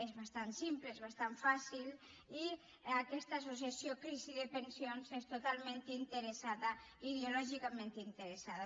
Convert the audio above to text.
és bastant simple és bastant fàcil i aquesta associació crisi amb pensions és totalment interessada ideològicament interessada